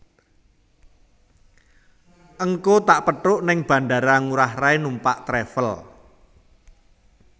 Ngko tak pethuk ning Bandara Ngurah Rai numpak travel